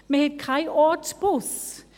Wir haben keinen Ortsbus.